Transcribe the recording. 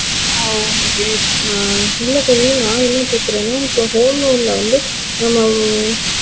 ஆஹ் okay ஹ்ம் இல்ல kavin நா என்ன கேக்குறேன்னா இப்போ home loan ல வந்து ஹ்ம்